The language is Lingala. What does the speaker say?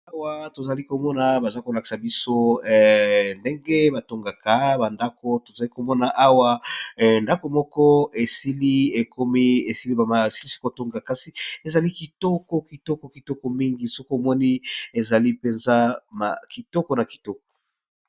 Awa toza komona bazolakisa biso ndenge batongaka ndako eza kitoko.